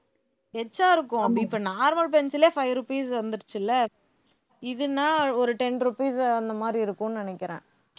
இருக்கும் அப்ப இப்ப normal pencil லே five rupees வந்துருச்சு இல்ல இது நான் ஒரு ten rupees அந்த மாதிரி இருக்கும்னு நினைக்கிறேன்